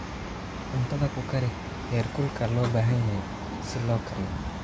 Cuntada ku kari heerkulka loo baahan yahay si loo kariyo.